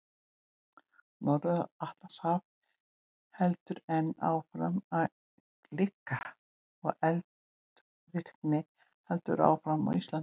Norður-Atlantshaf heldur enn áfram að gleikka og eldvirkni heldur áfram á Íslandi.